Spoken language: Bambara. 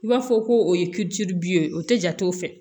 I b'a fɔ ko o ye ye o tɛ jate o fɛ